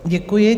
Děkuji.